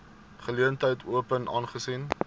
geleentheid open aangesien